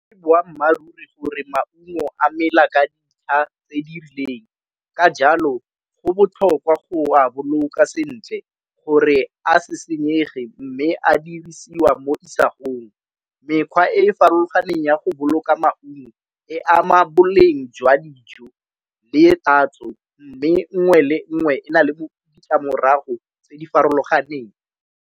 ke boammaaruri gore maungo a mela ka dintlha tse dirileng ka jalo go botlhokwa go a boloka sentle gore a se senyege, mme a dirisiwa mo isagong. Mekgwa e e farologaneng ya go boloka maungo e ama boleng jwa dijo le tatso, mme nngwe le nngwe e na le ditlamorago tse di farologaneng.